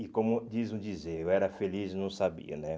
E como dizem o dizer, eu era feliz e não sabia, né?